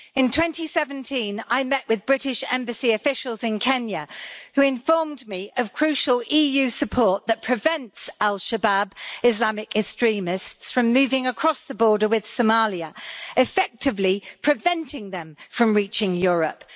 In 2017, I met with British Embassy officials in Kenya who informed me of crucial EU support that prevents al-Shabaab Islamic extremists from moving across the border with Somalia, effectively preventing them from reaching Europe.